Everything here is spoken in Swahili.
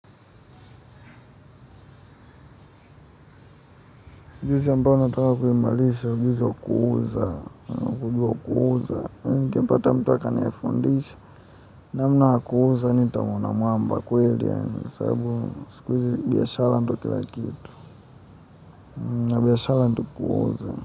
Ujuzi ambao nataka kuimarisha, ujuzi wa kuuza, ujuzi wa kuuza. Ningepata mtu ata nifundisha, namna ya kuuza nitamwona mamba kweli yaani. Sababu siku hizi biashara ndo kila kitu. Na biashara ndo kuuza.